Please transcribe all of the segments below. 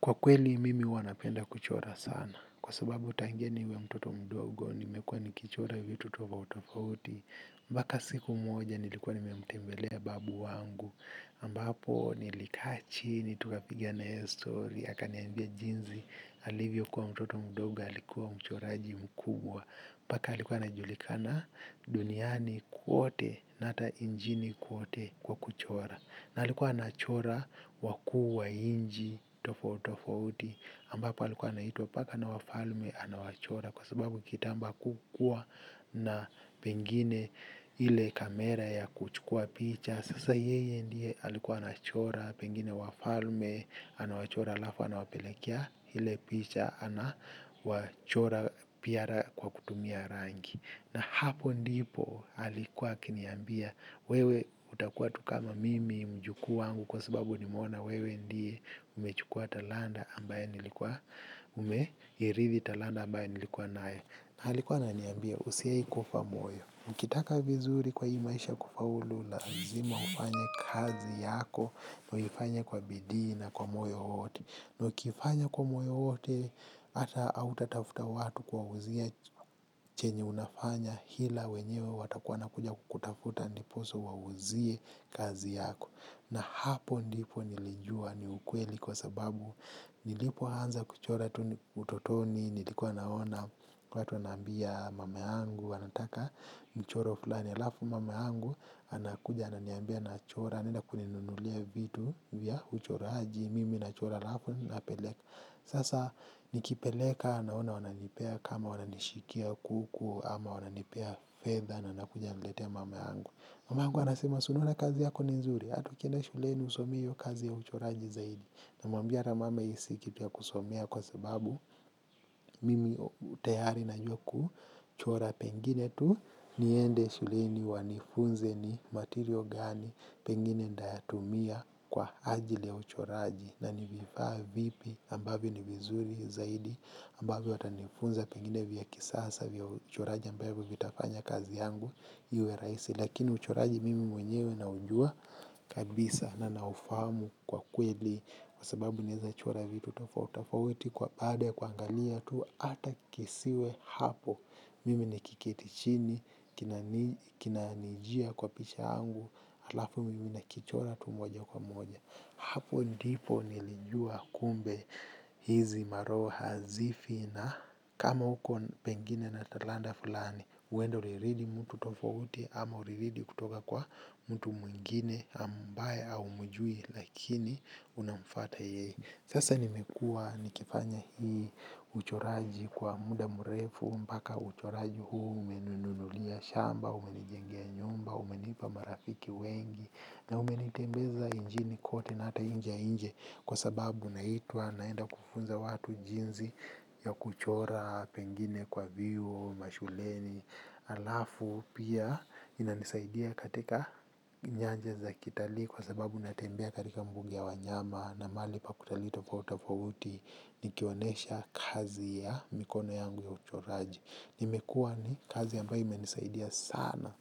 Kwa kweli, mimi huwa napenda kuchora sana. Kwa sababu tangenia niwe mtoto mdogo, nimekuwa nikichora vitu tofauti. Mpaka siku moja, nilikuwa nimemtembelea babu wangu. Ambapo, nilikaa chini tukapiga na yeye stori akaniambia jinsi, alivyokuwa mtoto mdogo, alikuwa mchoraji mkubwa. Mbaka alikuwa anajulikana duniani kwote, na hata injini kwote kwa kuchora. Na alikuwa anachora wakuu wa inji tofo tofauti ambapo alikuwa anaitwa mpaka na wafalme anawachora kwa sababu kitambo hakukua na pengine ile kamera ya kuchukua picha. Sasa yeye ndiye alikuwa anachora pengine wafalme anawachora alafu anawapelekia ile picha anawachora piara kwa kutumia rangi. Na hapo ndipo alikuwa akiniambia wewe utakuwa tu kama mimi mjukuu wangu kwa sababu nimeona wewe ndiye umechukua talanta ambaye nilikuwa umeirithi talanta ambaye nilikuwa nae na alikuwa ananiambia usiaifufa moyo ukitaka vizuri kwa hii maisha kufaulu lazima ufanye kazi yako uifanye kwa bidii na kwa moyo wote. Na ukifanya kwa moyo wote ata hautatafuta watu kuwauzia chenye unafanya ila wenyewe watakuwa wanakuja kutafuta ndiposa uwauzie kazi yako. Na hapo ndipo nilijua ni ukweli kwa sababu nilipoanza kuchora tu utotoni nilikua naona watu wananiambia mama yangu wanataka mchoro fulani alafu mama yangu anakuja ananiambia nachora anaenda kuninunulia vitu vya uchoraji mimi nachora alafu napeleka sasa nikipeleka annona wananipea kama wananishikia kuku ama wananipea fedha na nakuja naletea mamangu mamangu anasema si unaona kazi yako ni nzuri hata ukienda shuleni usomei iyo kazi ya uchoraji zaidi namwambia ata mama hii si kitu ya kusomea kwa sababu mimi tayari najua kuchora pengine tu. Niende shuleni wanifunze ni material gani pengine ntayatumia kwa ajili ya uchoraji. Na ni vifaa vipi ambavyo ni vizuri zaidi ambavyo watanifunza pengine vya kisasa vya uchoraji ambavyo vitafanya kazi yangu iwe rahisi lakini uchoraji mimi mwenyewe nauua kabisa na naufahamu kwa kweli. Kwa sababu naezachora vitu tofau tofauti kwa baada ya kuaangalia tu ata kisiwe hapo. Mimi nikiketi chini, kinaanijia kwa picha yangu, alafu mimi nakichora tu moja kwa moja. Hapo ndipo nilijua kumbe hizi maroho hazifi na kama huko pengine na talanta fulani, huenda uliridhi mtu tofauti ama uliridhi kutoka kwa mtu mwingine ambaye haumjui lakini unamfata ye. Sasa nimekua nikifanya hii uchoraji kwa muda mrefu mpaka uchoraji huu umenunulia shamba, umenijengea nyumba, umenipa marafiki wengi na umenitembeza injini kote na ata inje ya inji kwa sababu naitwa naenda kufunza watu jinzi ya kuchora pengine kwa vyuo, mashuleni, alafu pia inanisaidia katika nyanja za kitalii kwa sababu natembea katika mbuga ya wanyama na mahali pa kutalii tofauti tofauti nikionesha kazi ya mikono yangu ya uchoraji nimekua ni kazi ambaye imenisaidia sana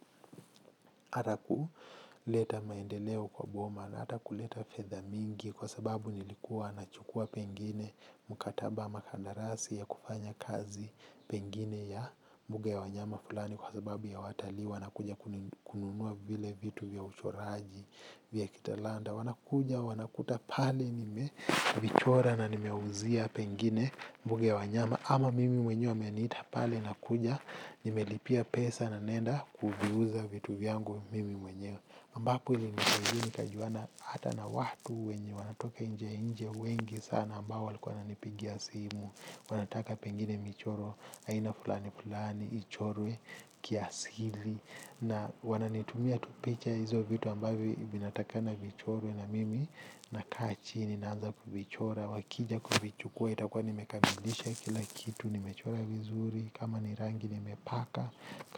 ata kuleta maendeleo kwa boma na ata kuleta fedha mingi kwa sababu nilikuwa nachukua pengine mkataba ama kandarasi ya kufanya kazi pengine ya mbuga ya wanyama fulani kwa sababu ya watalii wanakuja kununua vile vitu vya uchoraji vya kitalanta wanakuja wanakuta pale nimevichora na nimeuzia pengine mbuga ya wanyama ama mimi mwenye wameniita pale nakuja nimelipia pesa na naenda kuviuza vitu vyangu mimi mwenyewe mbapo ilinisaidia nikajuana hata na watu wenye wanatoka nje nje wengi sana ambao walikuwa wananipigia simu wanataka pengine michoro aina fulani fulani ichorwe kiasili na wananitumia tu picha ya hizo vitu ambavyo vinatakana vichorwe na mimi nakaa chini. Ninaanza kuvichora, wakija kuvichukua, itakua nimekamilisha kila kitu, nimechora vizuri, kama ni rangi nimepaka,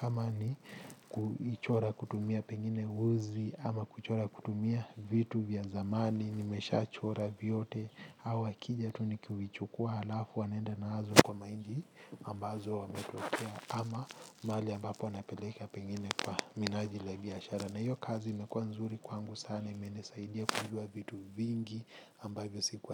kama ni kuvichora kutumia pengine uzi, ama kuchora kutumia vitu vya zamani, nimeshachora vyote, au wakija tu ni kuvichukua halafu wanaenda nazo kwa mainchi ambazo wamekotea, ama mahali ambapo napeleka pengine kwa minajili ya biashara. Na hiyo kazi imekuwa nzuri kwangu sana imenisaidia kujua vitu vingi ambavyo sikuwa.